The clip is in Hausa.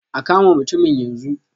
A kama mutumin yanzu.